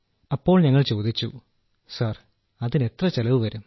അപ്പോൾ ഞങ്ങൾ ചോദിച്ചു സർ അതിനെത്ര ചെലവു വരും